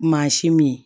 Mansin min ye